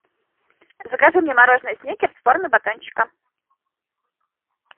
закажи мне мороженое сникерс в форме батончика